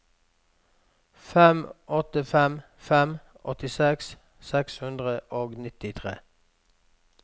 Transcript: fem åtte fem fem åttiseks seks hundre og nittitre